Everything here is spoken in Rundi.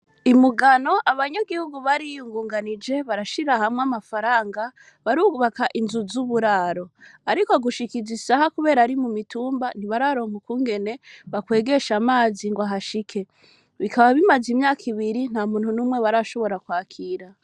I Mugano, abanyagihugu bariyungunganije, barashira hamwe amafaranga, barubaka inzu z'uburaro. Ariko gushika izi saha, kuberako ari mumitumba, ntibararonka ukungene bakwegesha amazi ngo ahashike. Bikaba bimaze imyaka ibiri, ntamuntu n'umwe barashobora kwakira.